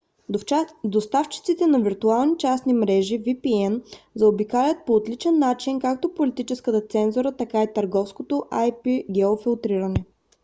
доставчиците на виртуални частни мрежи vpn заобикалянт по отличен начин както политическата цензура така и търговското ip-геофилтриране